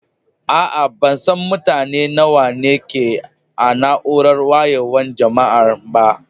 Aa, ban san mutane nawa ne ke a'naúrar wayewan jama'an ba.